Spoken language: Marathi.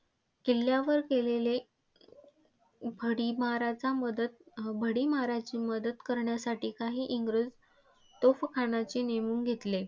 किल्ल्यावर केलेले भडीमाराचा मदत अं भडिमाराची मदत करण्यासाठी काही इंग्रज तोफखानाचे नेमून घेतले.